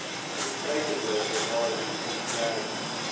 ingrypende bewaring ontwerp